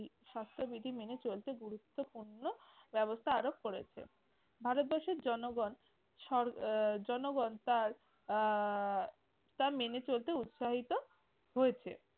স্বাস্থ্যবিধি মেনে চলতে গুরুত্বপূর্ণ ব্যবস্থা আরোপ করেছে। ভারতবর্ষের জনগণ সর আহ জনগণ তার আহ তা মেনে চলতে উৎসাহিত হয়েছে।